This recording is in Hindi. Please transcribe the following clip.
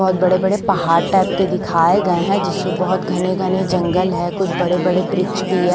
बहुत बड़े-बड़े पहाड़ टाइप के दिखाए गए हैं जिससे बहुत घने-घने जंगल है कुछ बड़े-बड़े ब्रिच भिह --